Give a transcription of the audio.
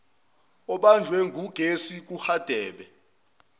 obanjwe ngugesi kuhadebe